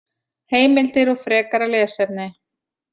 Heimildir og frekara lesefni